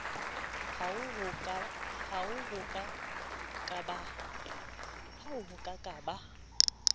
hoa ho a ka ba